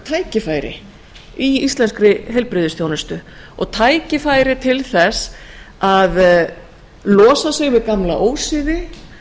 tækifæri í íslenskri heilbrigðisþjónustu og tækifæri til þess að losa sig við gamla ósiði